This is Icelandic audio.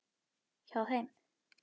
Hjá þeim.